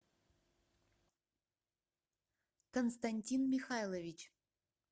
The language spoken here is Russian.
константин михайлович